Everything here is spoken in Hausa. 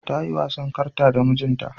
Ta yi wasan karta da mijinta.